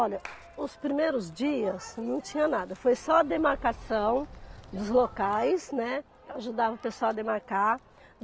Olha, os primeiros dias não tinha nada, foi só a demarcação dos locais, né, ajudava o pessoal a demarcar.